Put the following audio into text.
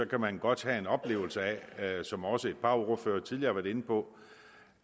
kan man godt have en oplevelse af som også et par ordførere tidligere har været inde på